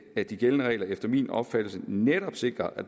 at de gældende regler efter min opfattelse netop sikrer at